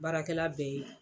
Baarakɛla bɛ yen.